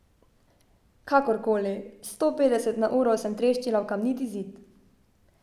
Kakor koli, s sto petdeset na uro sem treščila v kamniti zid.